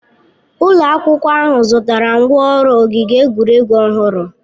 Ụlọ akwụkwọ ahụ zụtara ngwá ọrụ ogige egwuregwu ọhụrụ.